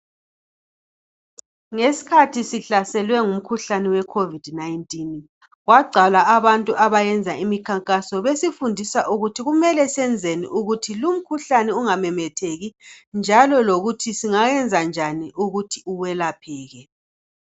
Ngeskhathi sihlaselwe ngumkhuhlani we COVID19 kwagcwala abantu abayenza imikhankaso besifundisa ukuthi kumele senzeni ukuthi lumkhuhlane ungamemetheki njalo lokuthi singayenza njani ukuthi uwelapheke.